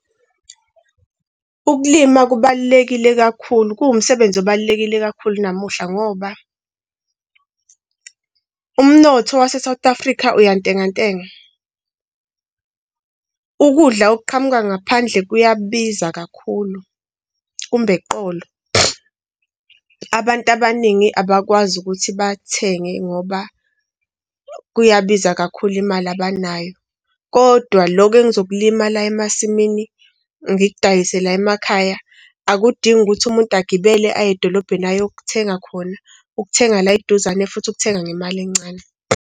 Ukulima kubalulekile kakhulu, kuwumsebenzi obalulekile kakhulu namuhla ngoba umnotho wase-South Africa uyantengantenga. Ukudla okuqhamuka ngaphandle kuyabiza kakhulu, kumb' eqolo. Abantu abaningi abakwazi ukuthi bathenge ngoba kuyabiza kakhulu, imali abanayo. Kodwa lokho engizokulima la emasimini, ngikudayise la emakhaya akudingi ukuthi umuntu agibele aye edolobheni ayokuthenga khona, ukuthenga la eduzane futhi ukuthenga ngemali encane.